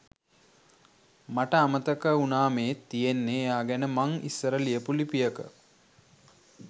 මට අමතක වුණාමේ තියෙන්නේ එයා ගැන මං ඉස්සර ලියපු ලිපියක.